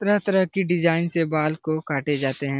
तरह-तरह की डिज़ाइन से बाल को काटे जाते हैं।